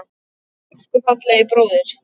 Elsku fallegi bróðir.